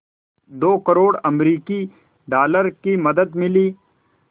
दो करोड़ अमरिकी डॉलर की मदद मिली